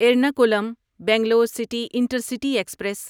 Ernakulam Bangalore city intercity express